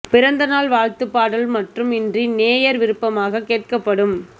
பிறந்த நாள் வாழ்த்துப் பாடல் மட்டும் இன்றி நேயர் விருப்பமாகக் கேட்கப்படும்